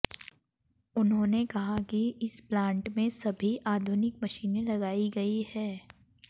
उन्होंने कहा कि इस प्लांट में सभी आधुनिक मशीने लगाई गई है